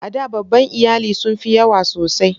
A da babban iyali sun fi yawa sosai.